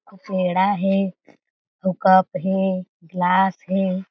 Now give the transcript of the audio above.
अउ पेड़ा हें अउ कप हे गिलास हें।